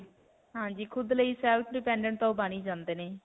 ਹਾਂਜੀ. ਖੁਦ ਲਈ self-dependent ਤਾਂ ਓਹ ਬਣ ਹੀ ਜਾਂਦੇ ਨੇ.